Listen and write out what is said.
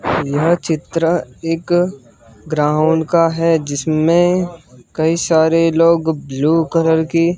यह चित्र एक ग्राउंड का है जिसमें कई सारे लोग ब्लू कलर की--